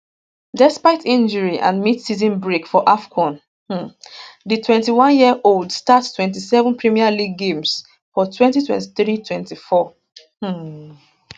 despite injury and midseason break for afcon um di 21yearold start 27 premier league games for 202324 um